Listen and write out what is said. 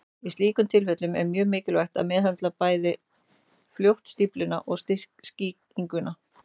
Í slíkum tilfellum er mjög mikilvægt að meðhöndla fljótt bæði stífluna og sýkinguna.